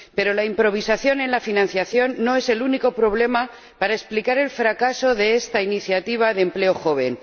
Pero la improvisación en la financiación no es el único problema que explica el fracaso de esta iniciativa de empleo joven.